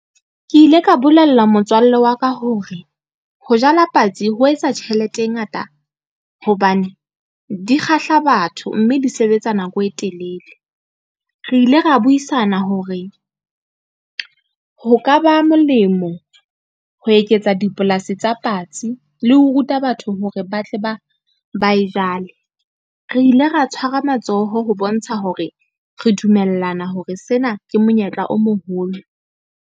Ke ile ka bolella motswalle wa ka hore, ho jala patsi ho etsa tjhelete e ngata hobane di kgahla batho, mme di sebetsa nako e telele. Re ile ra buisana hore, ho ka ba molemo ho eketsa dipolasi tsa patsi le ho ruta batho hore ba tle ba e jwale. Re ile ra tshwara matsoho ho bontsha hore re dumellana hore sena ke monyetla o moholo.